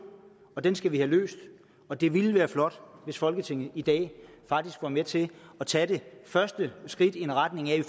og den skal vi have løst og det ville være flot hvis folketinget i dag faktisk var med til tage det første skridt i retning af at